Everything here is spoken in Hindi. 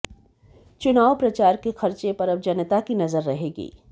चुनाव प्रचार के खर्चे पर अब जनता की नजर रहेगी